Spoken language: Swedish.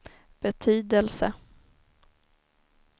betydelse